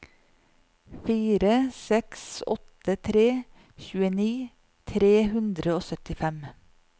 fire seks åtte tre tjueni tre hundre og syttifem